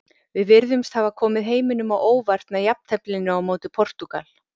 Við virtumst hafa komið heiminum á óvart með jafnteflinu á móti Portúgal.